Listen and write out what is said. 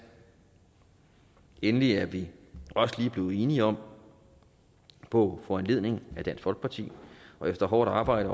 endelig er vi også lige blevet enige om på foranledning af dansk folkeparti og efter hårdt arbejde